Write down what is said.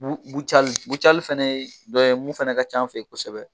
Bucali bucali fɛnɛ ye dɔ ye mun fana ka ca an fɛ yen kosɛbɛ.